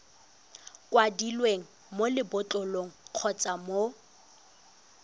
kwadilweng mo lebotlolong kgotsa mo